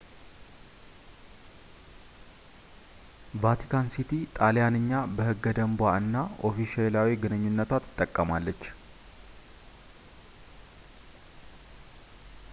ቫቲካን ሲቲ ጣልያንኛ በሕገ-ደንቧ እና ኦፊሴላዊ ግንኙነቷ ትጠቀማለች